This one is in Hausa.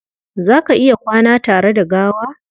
Za ka iya kwana tare da gawa?